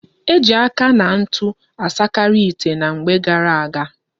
Eji aka na ntu asakari ite na mgbe gara aga